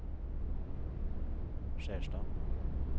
Skjerstad